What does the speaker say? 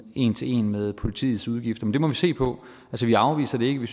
en til en med politiets udgifter men det må vi se på vi afviser det ikke vi